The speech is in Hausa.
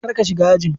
kar ka shiga ajin.